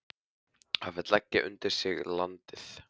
Hann vill leggja undir sig landið.